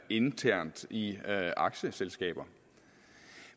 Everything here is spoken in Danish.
internt i aktieselskaber